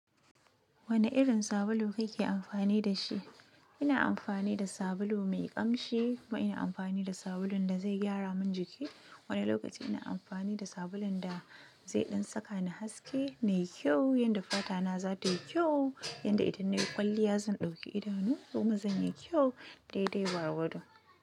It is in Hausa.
Wani irin sabulu kake amfani da shi? Ina amfani da sabulu mai ƙamshi, kuma ina amfani da sabulun da zai gyara min jiki. Wani lokaci ina amfani da sabulun da zai ɗan saka ni haske na yi kyau, yadda fata na za ta yi kyau, yadda idan nayi kwalliya zan ɗauki idanu kuma zan yi kyau. Daidai gwargwado.